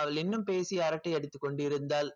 அவள் இன்னும் பேசி அரட்டை அடித்துக் கொண்டிருந்தாள்